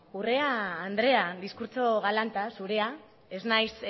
urrea andrea diskurtso galanta zurea ez naiz